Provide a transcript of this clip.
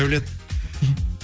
даулет